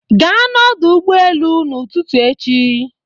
Gaa n'ọdụ ụgbọ elu ụtụtụ echi.